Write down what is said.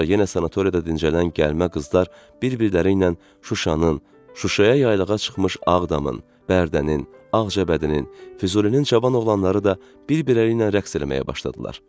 Sonra yenə sanatoriyada dincələn gəlmə qızlar bir-birləri ilə Şuşanın, Şuşaya yaylağa çıxmış Ağdamın, Bərdənin, Ağcabədinin, Füzulinin cavan oğlanları da bir-birləri ilə rəqs eləməyə başladılar.